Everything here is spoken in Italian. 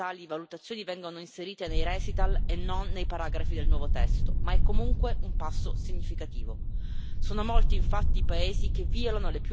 È un primo timido passo visto che tali valutazioni vengono inserite nei considerando e non nei paragrafi del nuovo testo, ma è comunque un passo significativo.